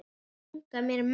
Ég eigna mér menn.